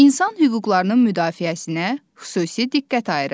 İnsan hüquqlarının müdafiəsinə xüsusi diqqət ayırır.